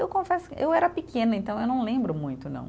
Eu confesso, eu era pequena, então eu não lembro muito, não.